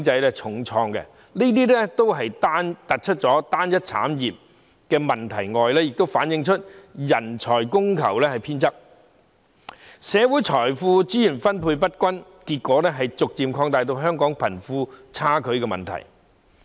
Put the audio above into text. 這除了凸顯單一產業的問題外，也反映人才供求偏側，社會財富資源分配不均，結果逐漸加劇香港貧富差距的問題。